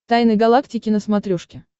тайны галактики на смотрешке